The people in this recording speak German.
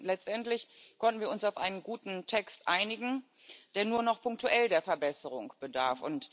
Letztendlich konnten wir uns auf einen guten Text einigen, der nur noch punktuell der Verbesserung bedarf.